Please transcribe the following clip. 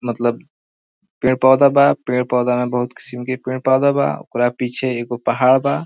मतलब पेड़ पौधा बा पेड़ पौधा में बहुत किस्म के पेड़ पौधा बा ओकरा पीछे एगो पहाड़ बा।